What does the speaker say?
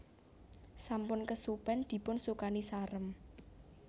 Sampun kesupen dipun sukani sarem